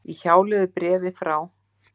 Í hjálögðu bréfi frá